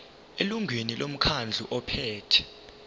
elungwini lomkhandlu ophethe